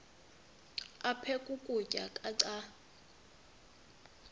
aphek ukutya canda